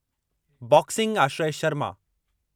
boxing Aashray Sharma